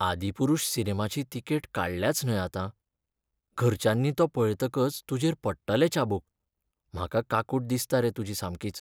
"आदिपुरुष" सिनेमाची तिकेट काडल्याच न्हय आतां. घरच्यांनी तो पळयतकच तुजेर पडटलें चाबूक. म्हाका काकूट दिसता रे तुजी सामकीच.